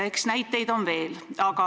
Eks näiteid on veel.